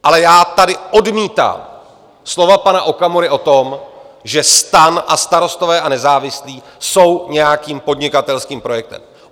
Ale já tady odmítám slova pana Okamury o tom, že STAN a Starostové a nezávislí jsou nějakým podnikatelským projektem.